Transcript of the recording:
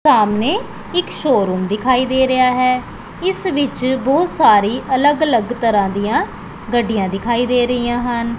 ਸਾਹਮਣੇ ਇੱਕ ਸ਼ੋਰੂਮ ਦਿਖਾਈ ਦੇ ਰਿਹਾ ਹੈ ਇਸ ਵਿੱਚ ਬਹੁਤ ਸਾਰੀ ਅਲੱਗ ਅਲੱਗ ਤਰ੍ਹਾਂ ਦੀਆਂ ਗੱਡੀਆਂ ਦਿਖਾਈ ਦੇ ਰਹੀਆਂ ਹਨ।